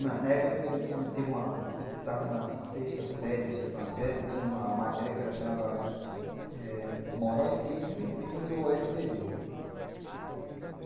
Na época, eu estava na sexta série, no sétima série, tinha uma matéria que ela chamava wh Moral e Cívica, que depois virou o esse pê ê